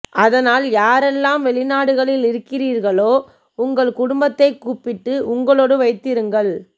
அதனால் யாரெல்லாம் வெளிநாடுகளில் இருக்கிறீர்களோ உங்கள் குடும்பத்தை கூப்பிட்டு உங்களோடு வைத்திருங்கள்